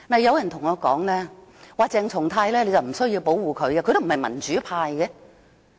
有人對我說不用保護鄭松泰議員，因為他不屬民主派。